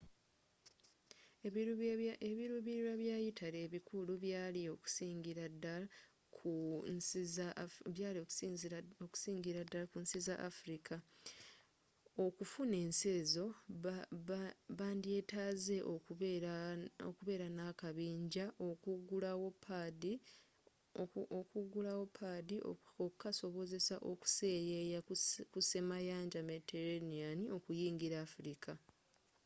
ebirubirirwa bya italy ebikulu byali okusingira dddal ku nsi za afirika okufuna ensi ezo bandyetaaze okubeera n'akabinjja okugulawo padi okukasobozesa okuseyeeya ku semayanja mediterranean okuyingira afirika